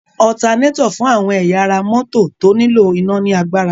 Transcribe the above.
Ọtanétọ̀ fún àwọn ẹ̀yà ara mọ́tọ̀ tó nílò iná ní agbára.